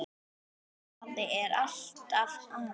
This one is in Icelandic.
En afi er alltaf afi.